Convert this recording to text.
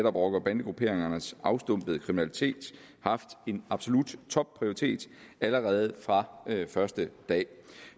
rocker og bandegrupperingernes afstumpede kriminalitet haft en absolut topprioritet allerede fra første dag